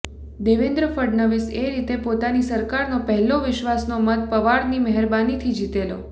દેવેન્દ્ર ફડણવિસ એ રીતે પોતાની સરકારનો પહેલો વિશ્ર્વાસનો મત પવારની મહેરબાનીથી જીતેલો